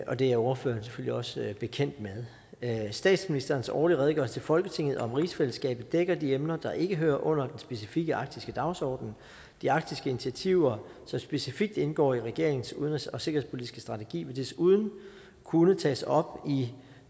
og det er ordførerne selvfølgelig også bekendt med statsministerens årlige redegørelse til folketinget om rigsfællesskabet dækker de emner der ikke hører under den specifikke arktiske dagsorden de arktiske initiativer som specifikt indgår i regeringens udenrigs og sikkerhedspolitiske strategi vil desuden kunne tages op i